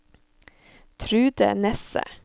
Trude Nesse